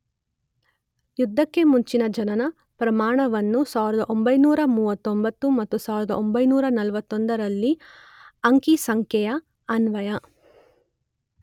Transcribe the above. ಯುದ್ಧಕ್ಕೆ ಮುಂಚಿನ ಜನನ ಪ್ರಮಾಣವನ್ನು 1939 ಮತ್ತು 1941ರಲ್ಲಿನ ಅಂಕಿ ಸಂಖ್ಯೆಯ ಅನ್ವಯ